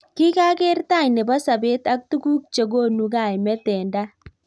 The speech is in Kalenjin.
kikakeer tai nebo sabet ak tukuk chekonu kaimet eng tai.